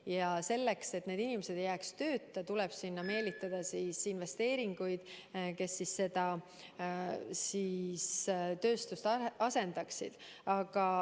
Ja selleks, et need inimesed ei jääks tööta, tuleb sinna meelitada investeeringuid, tänu millele see tööstus saab asendatud.